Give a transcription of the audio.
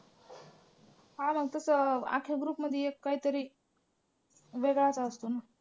हां मग तसं अख्ख्या group मध्ये एक काहीतरी वेगळाच असतो ना.